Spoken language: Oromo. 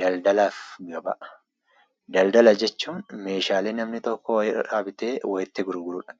Daldalaafi gabaa; daldala jechuun meeshaalee namni tokko walirraa bitee walitti gurgurudha.